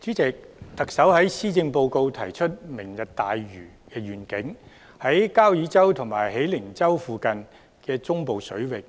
主席，特首在施政報告提出"明日大嶼願景"，在交椅洲和喜靈洲附近的中部水域，